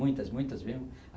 Muitas, muitas mesmo.